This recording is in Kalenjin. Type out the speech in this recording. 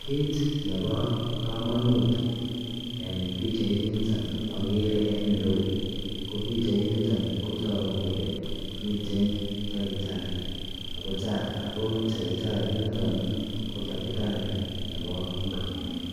Kit Nebo kamanut mising en bichait niton ko bichait niton kotagu komiten takitari agotakitari initon kotakitari noton Nebo ingogenik